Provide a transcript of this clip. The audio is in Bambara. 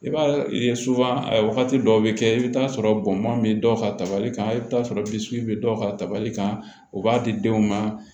I b'a ye wagati dɔw bɛ kɛ i bɛ t'a sɔrɔ bɔn bɛ dɔ ka tabali kan i bɛ t'a sɔrɔ bisigi bɛ dɔw ka tabali kan u b'a di denw ma